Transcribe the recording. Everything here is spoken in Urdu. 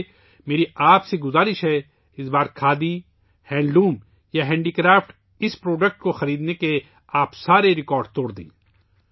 اس لئے میں آپ سے درخواست کرتا ہوں کہ اس بار کھادی، ہینڈلوم یا دستکاری میں اس پروڈکٹ کو خریدنے کے لئے تمام ریکارڈ توڑ دیں